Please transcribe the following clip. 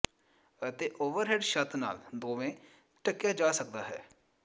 ਅਤੇ ਓਵਰਹੈੱਡ ਛੱਤ ਨਾਲ ਦੋਵੇਂ ਢੱਕਿਆ ਜਾ ਸਕਦਾ ਹੈ